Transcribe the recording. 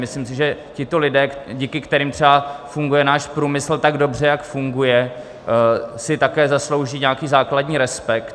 Myslím si, že tito lidé, díky kterým třeba funguje náš průmysl tak dobře, jak funguje, si také zaslouží nějaký základní respekt.